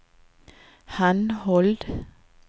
henhold